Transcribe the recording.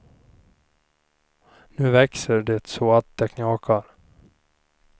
Nu växer det så att det knakar.